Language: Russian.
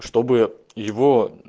чтобы его